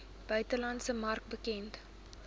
buitelandse mark bekend